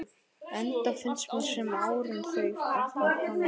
Enda finnst mér sem árin þau arna hafi liðið hratt.